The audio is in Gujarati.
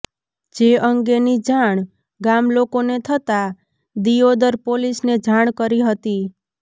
જે અંગેની જાણ ગામલોકોને થતાં દિયોદર પોલીસને જાણ કરી હતી